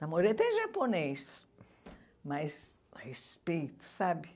Namorei até japonês, mas respeito, sabe?